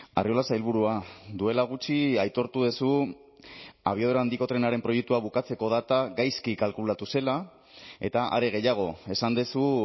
arriola sailburua duela gutxi aitortu duzu abiadura handiko trenaren proiektua bukatzeko data gaizki kalkulatu zela eta are gehiago esan duzu